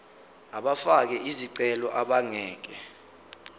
abafake izicelo abangeke